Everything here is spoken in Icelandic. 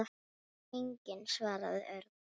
Enginn svaraði Örn.